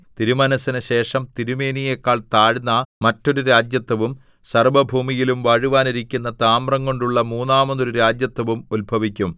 തിരുമനസ്സിനു ശേഷം തിരുമേനിയേക്കാൾ താഴ്ന്ന മറ്റൊരു രാജത്വവും സർവ്വഭൂമിയിലും വാഴുവാനിരിക്കുന്ന താമ്രംകൊണ്ടുള്ള മൂന്നാമതൊരു രാജത്വവും ഉത്ഭവിക്കും